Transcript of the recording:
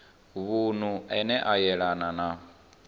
vunu ane a yelana na